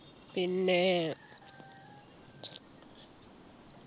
പിന്നെ